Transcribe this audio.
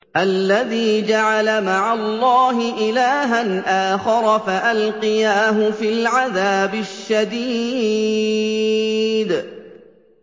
الَّذِي جَعَلَ مَعَ اللَّهِ إِلَٰهًا آخَرَ فَأَلْقِيَاهُ فِي الْعَذَابِ الشَّدِيدِ